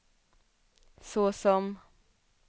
såsom